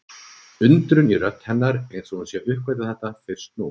Undrun í rödd hennar eins og hún sé að uppgötva þetta fyrst nú.